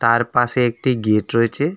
তার পাশে একটি গেট রয়েছে।